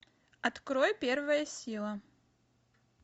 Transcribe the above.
открой первая сила